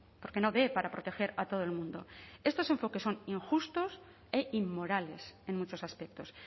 porque no dé para proteger a todo el mundo estos enfoques son injustos e inmorales en muchos aspectos